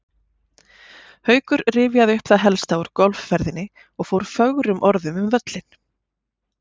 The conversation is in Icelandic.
Haukur rifjaði upp það helsta úr golfferðinni og fór fögrum orðum um völlinn.